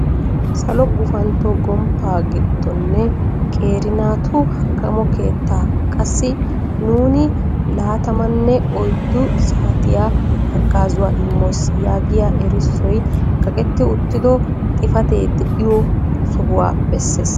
Salo gufantto gomppa giddonne qeeri naatu hakkammo keetta, qassi nuuni laattamanne oyddu saatiyaa haggazzuwaa immoos.' yaagiya erissoy kaqqeti uttido xifatee de'iyo sohuwa bessees.